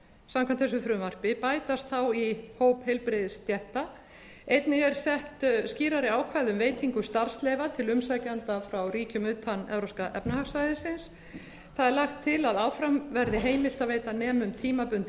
samkvæmt þessu frumvarpi bætast þá í hóp heilbrigðisstétta einnig eru sett skýrari ákvæði um veitingu starfsleyfa til umsækjenda frá ríkjum utan evrópska efnahagssvæðisins það er lagt til að áfram verði heimilt að veita nemum tímabundið